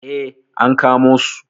Eh, an kamo su.